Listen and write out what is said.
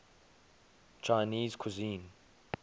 chinese cuisine